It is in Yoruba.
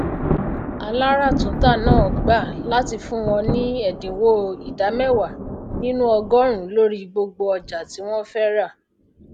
alaratunta náà gbà láti fun wọñ ni ẹdinwo ida mẹwàá nínú ọgọrùnún lórí gbogbo ọjà ti wọn fẹ ra